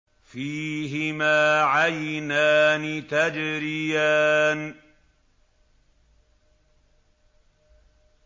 فِيهِمَا عَيْنَانِ تَجْرِيَانِ